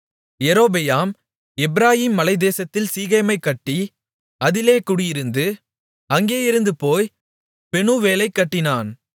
யெரொபெயாம் எப்பிராயீம் மலைத்தேசத்தில் சீகேமைக் கட்டி அதிலே குடியிருந்து அங்கிருந்து போய் பெனூவேலைக் கட்டினான்